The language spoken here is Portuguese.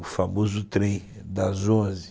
o famoso trem das onze